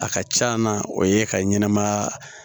A ka c'a na o ye ka ɲɛnɛmaya